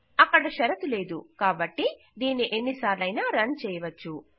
అక్కడ షరతు లేదు కాబట్టి దీనిని ఎన్ని సార్లయినా రన్ చేయవచ్చు